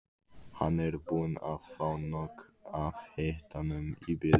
Hann er búinn að fá nóg af hitanum í bili.